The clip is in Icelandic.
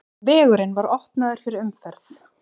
Vegurinn var opnaður fyrir umferð.